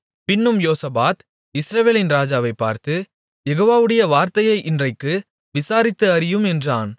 பின்னும் யோசபாத் இஸ்ரவேலின் ராஜாவைப் பார்த்து யெகோவாவுடைய வார்த்தையை இன்றைக்கு விசாரித்து அறியும் என்றான்